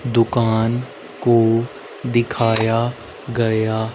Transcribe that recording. दुकान को दिखाया गया--